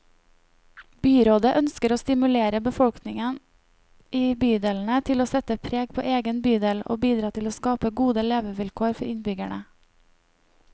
Byrådet ønsker å stimulere befolkningen i bydelene til å sette preg på egen bydel, og bidra til å skape gode levekår for innbyggerne.